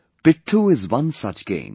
Pitthoo is one such game